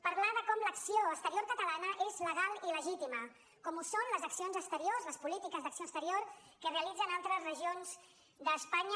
parlar de com l’acció exterior catalana és legal i legítima com ho són les accions exteriors les polítiques d’acció exterior que realitzen altres regions d’espanya